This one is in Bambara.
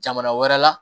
Jamana wɛrɛ la